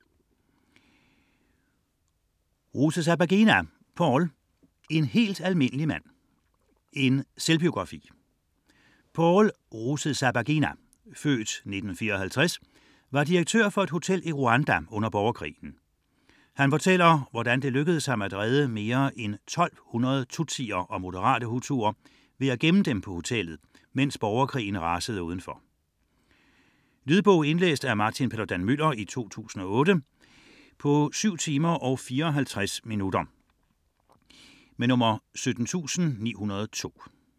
99.4 Rusesabagina, Paul Rusesabagina, Paul: En helt almindelig mand: en selvbiografi Paul Rusesabagina (f. 1954) var direktør for et hotel i Rwanda under borgerkrigen. Han fortæller, hvordan det lykkedes ham at redde mere end 1200 tutsier og moderate hutuer ved at gemme dem på hotellet, mens borgerkrigen rasede udenfor. Lydbog 17902 Indlæst af Martin Paludan-Müller, 2008. Spilletid: 7 timer, 54 minutter.